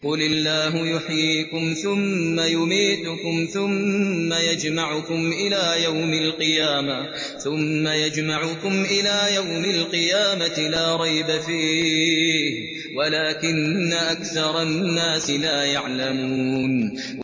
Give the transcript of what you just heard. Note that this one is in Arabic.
قُلِ اللَّهُ يُحْيِيكُمْ ثُمَّ يُمِيتُكُمْ ثُمَّ يَجْمَعُكُمْ إِلَىٰ يَوْمِ الْقِيَامَةِ لَا رَيْبَ فِيهِ وَلَٰكِنَّ أَكْثَرَ النَّاسِ لَا يَعْلَمُونَ